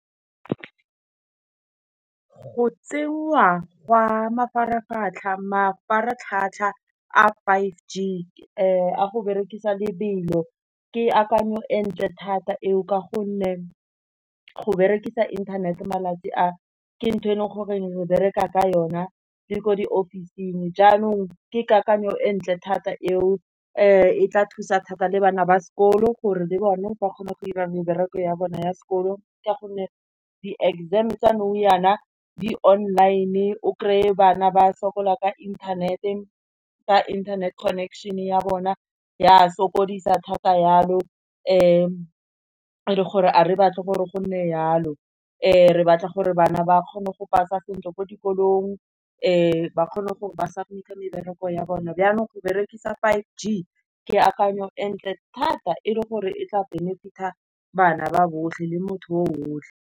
Go tsenngwa gwa mafaratlhatlha a five g a go berekisa lebelo, ke akanyo entle thata e o ka gonne go berekisa internet-e malatsi a, ke ntho e leng gore re bereka ka yona le ko di office-ing. Jaanong ke kakanyo e ntle thata e o e tla thusa thata le bana ba sekolo, gore le bone ba kgone go irang mebereko ya bona ya sekolo ka gonne di-exam tsa nou yana di online-e, o kry-e bana ba sokola ka internet-e, ka internet connection ya bona, ya sokodisa thata yalo gore a re batle gore go nne yalo. Re batla gore bana ba kgone go pass-a sentle ko dikolong, ba kgone go pass-a mebereko ya bone. Jaanong go berekisa five g, ke akanya entle thata, e le gore e tla benefit-a bana ba botlhe, le motho bo botlhe.